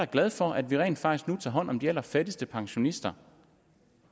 glad for at vi rent faktisk nu tager hånd om de allerfattigste pensionister